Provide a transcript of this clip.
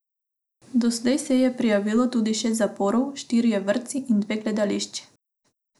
Doslej se je prijavilo tudi šest zaporov, štirje vrtci in dve gledališči.